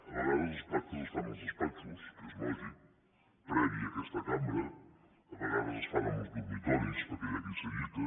a vegades els pactes es fan als despatxos que és lògic previs a aquesta cambra a vegades es fan als dormitoris perquè hi ha qui s’allita